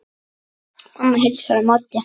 Mamma heilsar á móti.